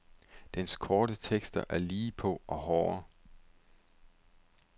Dens korte tekster er lige på og hårde.